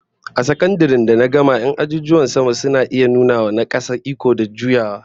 A sakandaren da na gama 'yan azuzuwan sama suna iya nuna wa na kasa iko da juyawa